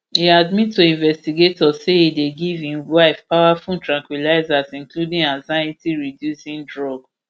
e admit to investigators say e dey give im wife powerful tranquilisers including anxietyreducing drug